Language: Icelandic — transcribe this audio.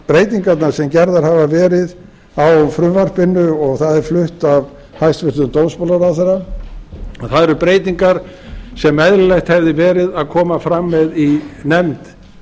breytingarnar sem gerðar hafa verið á frumvarpinu og það er flutt af hæstvirtum dómsmálaráðherra að það eru breytingar sem eðlilegt hefði verið að koma fram með í nefnd